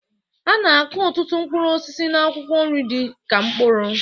A na-akụ ọtụtụ mkpụrụ osisi na akwụkwọ nri dị ka mkpụrụ